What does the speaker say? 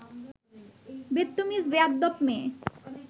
বেত্তমিজ বেয়াদ্দপ মেয়ে